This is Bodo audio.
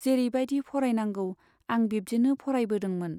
जेरै बाइदि फरायनांगौ आं बिब्दिनो फरायबोदोंमोन।